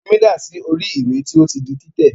Omi dà sí orí ìwé tí ó ti di títẹ̀.